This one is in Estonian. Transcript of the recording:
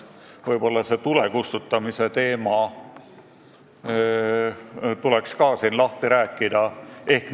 Võib-olla tuleks ka see tulekustutamise teema siinkohal lahti rääkida.